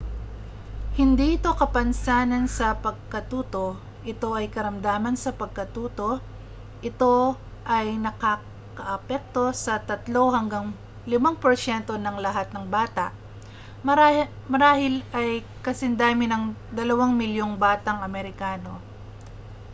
hindi ito kapansanan sa pagkatuto ito ay karamdaman sa pagkatuto ito ay nakakaapekto sa 3 hanggang 5 porsyento ng lahat ng bata marahil ay kasindami ng 2 milyong batang amerikano